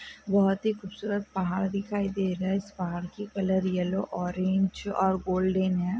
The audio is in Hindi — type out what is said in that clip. बहुत ही खूबसूरत पहाड़ दिखाई दे रहा है इस पहाड़ की कलर येलो ऑरेंज और गोल्डन है।